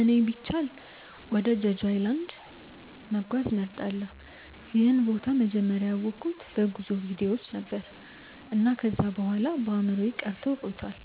እኔ ቢቻል ወደ ጀጁ ኣይላንድ(Jeju Island) መጓዝ እመርጣለሁ። ይህን ቦታ መጀመሪያ ያወቅሁት በጉዞ ቪዲዮዎች ነበር፣ እና ከዚያ በኋላ በአእምሮዬ ቀርቶ ቆይቷል።